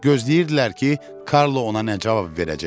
Gözləyirdilər ki, Karlo ona nə cavab verəcək.